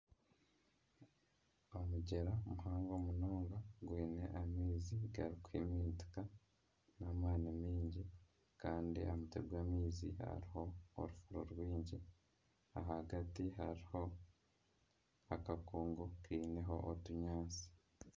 Omugyera muhango munonga gwine amaizi garikuhimintika n'amaani mingi kandi aha mutwe gw'amaizi hariho orufuro rwingi ahagati hariho akakungu kiineho otunyaatsi.